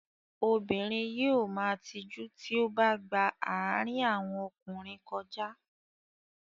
Obìnrin yóò ma tijú tí ó bá gba àárín àwọn ọkùnrin kọjá.